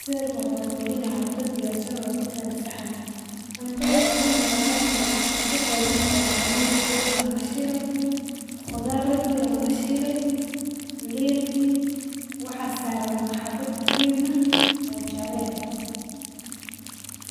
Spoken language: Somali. Sawirka wuxu mujinaya cunta diyaarsan oo kutaal saxan. Cunto waxay u muquta inay ka qoobantahay; ka luun ladube ama lashile, qudhaar laduwe ama lashile, waxa saran xabad liin eh oo jala ah.